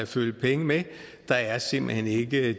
følge med der er simpelt hen ikke